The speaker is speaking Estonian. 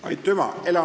Aitüma!